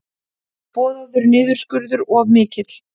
Boðaður niðurskurður of mikill